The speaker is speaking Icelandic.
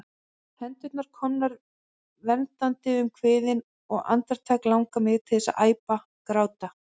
Hendurnar komnar verndandi um kviðinn, og andartak langar mig til að æpa, gráta.